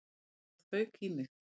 Já, það fauk í mig.